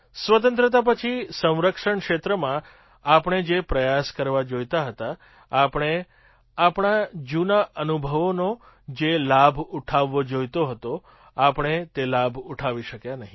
સ્વતંત્રતા પછી સંરક્ષણ ક્ષેત્રમાં આપણે જે પ્રયાસ કરવા જોઈતા હતા આપણે આપણા જૂના અનુભવોનો જે લાભ ઉઠાવવો જોઈતો હતો આપણે તે લાભ ઉઠાવી શક્યા નહીં